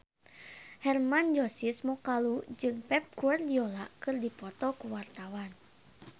Hermann Josis Mokalu jeung Pep Guardiola keur dipoto ku wartawan